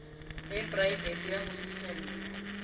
e poraefete ya ho fihlella